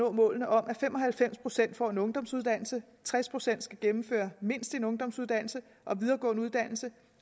nå målene om at fem og halvfems procent får en ungdomsuddannelse at tres procent skal gennemføre mindst en ungdomsuddannelse og videregående uddannelse